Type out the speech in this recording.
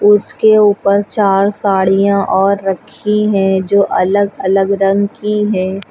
उसके ऊपर चार साड़ियां और रखी हैं जो अलग अलग रंग की हैं।